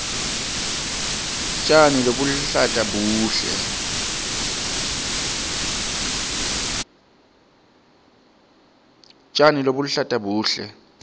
tjani lobuluhlata buhle